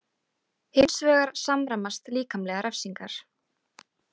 Hins vegar samræmast líkamlegar refsingar.